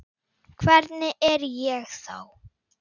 Hvernig er ég þá?